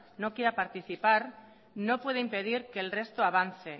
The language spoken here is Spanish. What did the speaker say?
no quiera participar no puede impedir que el resto avance